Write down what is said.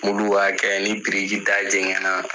b'a kɛ ni biriki da jɛgɛn na